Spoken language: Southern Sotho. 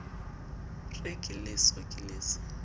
re ke leso ke leso